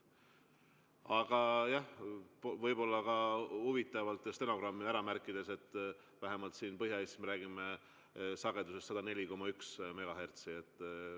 Aga jah, võib-olla on huvitav see stenogrammi ära märkida, et vähemalt siin Põhja-Eestis me räägime sagedusest 104,1 MHz.